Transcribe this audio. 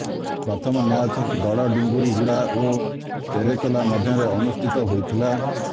ପ୍ରଥମ ମ୍ୟାଚ ବଡ ଡୁଙ୍ଗୁରୀ ଗୁଡା ଓ ତେରେକେଲା ମଧ୍ୟରେ ଅନୁଷ୍ଠିତ ହୋଇଥିଲା